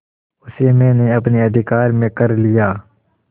उसे मैंने अपने अधिकार में कर लिया